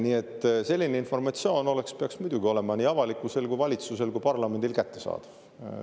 Nii et selline informatsioon peaks muidugi olema nii avalikkusele, valitsusele kui ka parlamendile kättesaadav.